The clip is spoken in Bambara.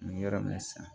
N bɛ yɔrɔ min na sisan